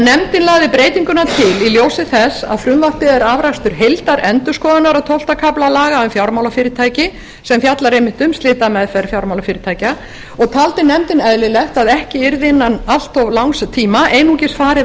nefndin lagði breytinguna til í ljósi þess að frumvarpið er afrakstur heildarendurskoðunar á tólfta kafla laga um fjármálafyrirtæki sem fjallar einmitt um slitameðferð fjármálafyrirtækja og taldi nefndin eðlilegt að ekki yrði innan allt of langs tíma einungis farið